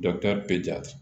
bɛ ja